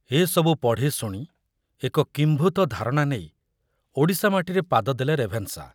ଏ ସବୁ ପଢ଼ି ଶୁଣି ଏକ କିମ୍ଭୂତ ଧାରଣା ନେଇ ଓଡ଼ିଶା ମାଟିରେ ପାଦ ଦେଲେ ରେଭେନ୍‌ଶା।